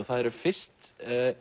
það eru fyrst